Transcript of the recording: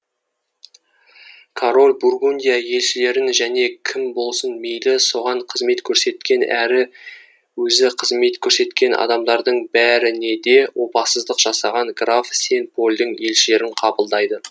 король бургундия елшілерін және кім болсын мейлі соған қызмет көрсеткен әрі өзі қызмет көрсеткен адамдардың бәріне де опасыздық жасаған граф сен польдің елшілерін қабылдайды